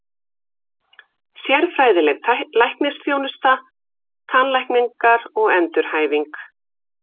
Sérfræðileg læknisþjónusta, tannlækningar og endurhæfing.